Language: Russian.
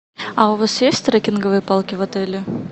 а у вас есть трекинговые палки в отеле